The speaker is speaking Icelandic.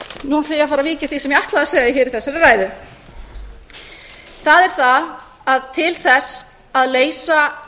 nú ætla ég að fara að víkja að því sem ég ætlaði að segja hér í þessari ræðu það er það að til þess að leysa